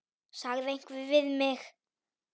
sagði einhver við mig.